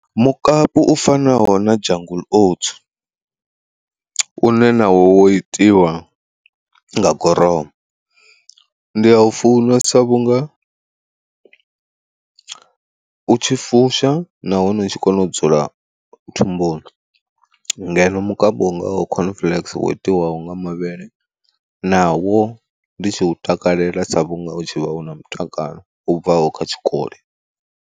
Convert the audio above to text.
Mukapu u fanaho na jungle oats, une na wo itiwa nga gorowu ndi a ufunesa vhunga u tshi fusha nahone u tshi kona u dzula thumbuni. Ngeno mukapu ngawo khon fleks wo itiwaho nga mavhele nawo ndi tshi u takalela sa vhunga u tshi vha u na mutakalo u bvaho kha tshikoli.